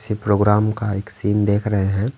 किसी प्रोग्राम का एक सीन देख रहे है।